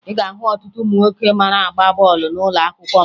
Ị ga-ahụ ọtụtụ ụmụ nwoke mara agba bọọlụ n'ụlọakwụkwọ m